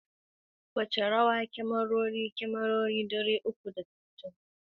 Wace rawa kyamarori, kyamarori dari uku da sittin, da ka’idar digiri dari da tamanin ke takawa wajen shirya fim?